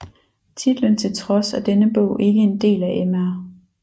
Titlen til trods er denne bog ikke en del af Mr